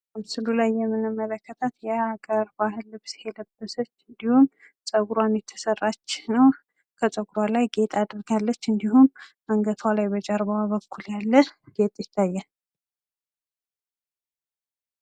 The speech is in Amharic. ምስሉ ላይ የምንመለከታት የአገር ባህል ልብስ የለበሰች እንድሁም ጸጉሯን የተሰራች ከጸጉሯ ላይ ጌጥ አድርጋለች። እንድሁም አንገቷ ላይ በጀርባዋ በኩል ያለ ጌጥ ይታያል።